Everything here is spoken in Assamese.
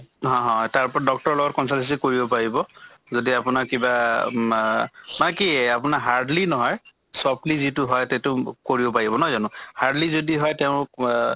অহ হ তাৰ ওপৰত doctor ৰ লগত consult কৰিব পাৰিব যদি আপোনাৰ কিবা মা মাকি আপোনাৰ hardly নহয় softly যিটো হয় তেতো কৰিব পাৰিব নহয় জানো? hardly যদি হয় তেওঁক অহ